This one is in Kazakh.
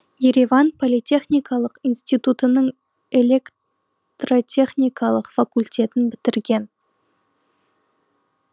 ереван политехникалық институтының электотехникалық факультетін бітірген